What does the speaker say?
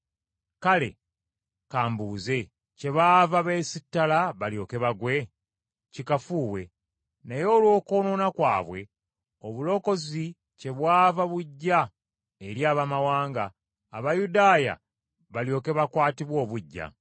Kale ka mbuuze, kyebaava beesittala balyoke bagwe? Kikafuuwe. Naye olw’okwonoona kwabwe, obulokozi kyebwava bujja eri Abaamawanga, Abayudaaya balyoke bakwatibwe obuggya.